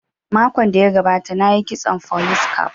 Makon da ya gabata na yi kitson folis caf